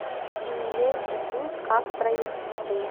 меня интересует как проехать в отель